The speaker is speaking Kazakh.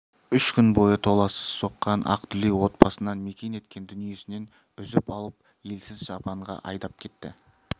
үш күн бойы толассыз соққан ақ дүлей отбасынан мекен еткен дүниесінен үзіп алып елсіз жапанға айдап кетті